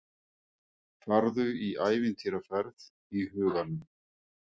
Farðu í ævintýraferð í huganum.